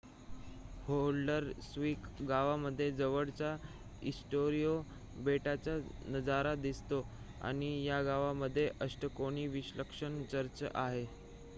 Haldarsvik गावामधून जवळच्या Eysturoy बेटाचा नजारा दिसतो आणि या गावामध्ये अष्टकोनी विलक्षण चर्च आहे